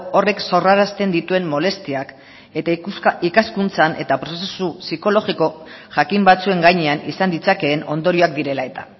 horrek sorrarazten dituen molestiak eta ikaskuntzan eta prozesu psikologiko jakin batzuen gainean izan ditzakeen ondorioak direla eta